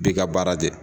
Bi ka baara kɛ